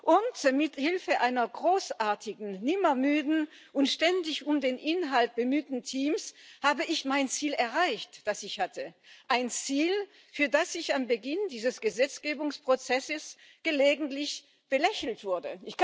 Unter Mithilfe eines großartigen, nimmermüden und ständig um den Inhalt bemühten Teams habe ich mein Ziel erreicht, das ich hatte ein Ziel, für das ich am Beginn dieses Gesetzgebungsprozesses gelegentlich belächelt wurde.